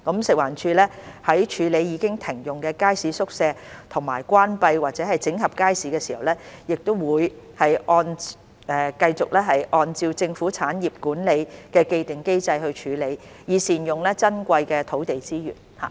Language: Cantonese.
食環署在處理已停用的街市宿舍和關閉或整合街市時，會繼續按照政府產業管理的既定機制處理，以善用珍貴的土地資源。